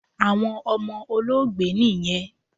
Awọn ọmọ Olóògbé niyẹn